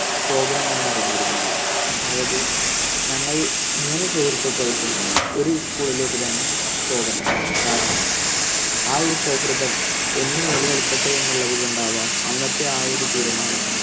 പോകണം എന്ന് അറിഞ്ഞിരുന്നില്ല അതായത് ഞങ്ങൾ മൂന്ന് സുഹൃത്തുക്കൾക്കും ഒരു സ്കൂളിലേക്ക് തന്നെ പോകണം. കാരണം ആ ഒരു സൗഹൃദം എന്നും നിലനിൽക്കട്ടെ എന്നു ഉള്ളതുകൊണ്ട് ആവാം അന്നത്തെ ആ ഒരു തീരുമാനം